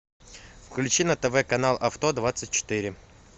включи на тв канал авто двадцать четыре